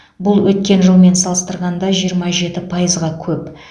бұл өткен жылмен салыстырғанда жиырма жеті пайызға көп